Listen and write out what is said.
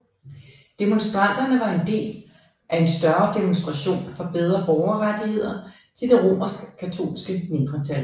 Demonstranterne var en del af en større demonstration for bedre borgerrettigheder til det romerskkatolske mindretal